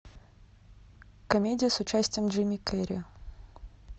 комедия с участием джима керри